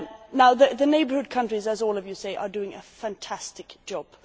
Now the neighbourhood countries, as all of you say, are doing a fantastic job.